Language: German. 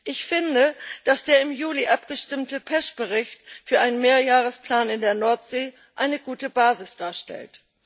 Ich finde, dass der im Juli abgestimmte PECH Bericht für einen Mehrjahresplan in der Nordsee eine gute Basis darstellt.